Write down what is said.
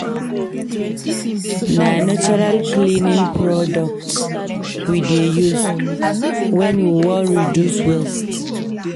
Na natural cleaning products we dey use wen we wan reduce waste.